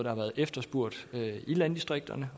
har været efterspurgt i landdistrikterne